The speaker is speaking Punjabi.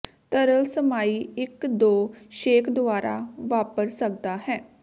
ਤਰਲ ਸਮਾਈ ਇੱਕ ਦੋ ਛੇਕ ਦੁਆਰਾ ਵਾਪਰ ਸਕਦਾ ਹੈ